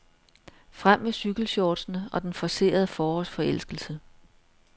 Frem med cykelshortsene og den forcerede forårsforelskelse.